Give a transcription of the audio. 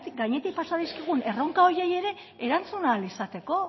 gainetik pasa dizkigun erronka horiei ere erantzun ahal izateko